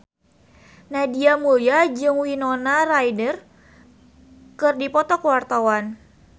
Nadia Mulya jeung Winona Ryder keur dipoto ku wartawan